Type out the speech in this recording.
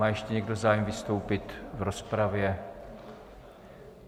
Má ještě někdo zájem vystoupit v rozpravě?